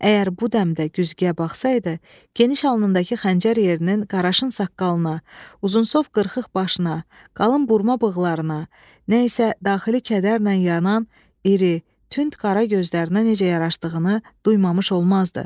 Əgər bu dəmdə güzgüyə baxsaydı, geniş alnındakı xəncər yerinin Qarşın saqqalına, uzunsov qırxıq başına, qalın burma bığlarına, nə isə daxili kədərlə yanan iri, tünd qara gözlərinə necə yaraşdığını duymamış olmazdı.